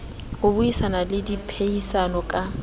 ho buisana le diphehisano ka